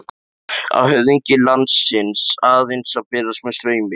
Á höfðingi landsins aðeins að berast með straumi?